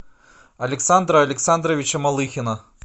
александра александровича малыхина